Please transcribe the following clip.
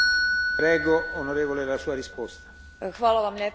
Hvala vam lijepo na pitanju koje ste uputili.